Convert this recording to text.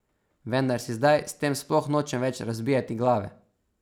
Vendar si zdaj s tem sploh nočem več razbijati glave.